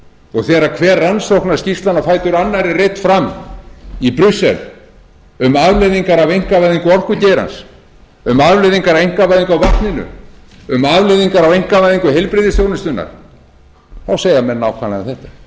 og þegar hver rannsóknarskýrslan á fætur annarri er reidd fram í brussel um afleiðingar af einkavæðingu orkugeirans um afleiðingar af einkavæðingu á vatninu um afleiðingar af einkavæðingu heilbrigðisþjónustunnar þá segja menn nákvæmlega þetta